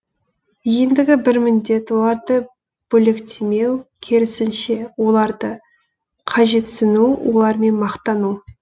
ендігі бір міндет оларды бөлектемеу керісінше оларды қажетсіну олармен мақтану